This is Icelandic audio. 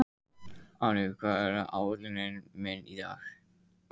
Árný, hvað er á áætluninni minni í dag?